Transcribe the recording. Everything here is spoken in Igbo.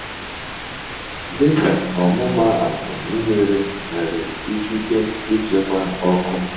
Dịka ọmụmaatụ, mmiri nwere ikike ịchekwa ọkụ.